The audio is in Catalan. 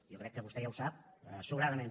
jo crec que vostè ja ho sap sobradament